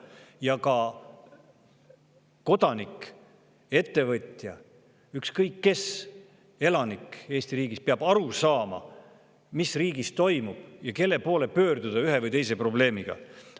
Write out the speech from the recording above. Ja ka kodanik, ettevõtja, ükskõik kes, iga elanik Eesti riigis peab aru saama, mis riigis toimub ja kelle poole pöörduda ühe või teise probleemiga.